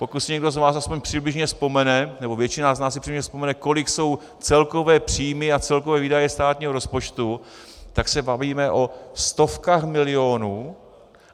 Pokud si někdo z vás aspoň přibližně vzpomene, nebo většina z nás si přibližně vzpomene, kolik jsou celkové příjmy a celkové výdaje státního rozpočtu, tak se bavíme o stovkách milionů.